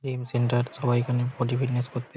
gym centre সবাই এখানে body fitness করতে--